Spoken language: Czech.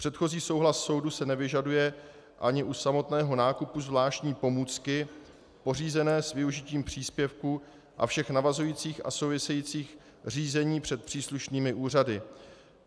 Předchozí souhlas soudu se nevyžaduje ani u samotného nákupu zvláštní pomůcky pořízené s využitím příspěvku a všech navazujících a souvisejících řízení před příslušnými úřady.